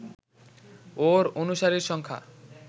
ওর অনুসারীর সংখ্যা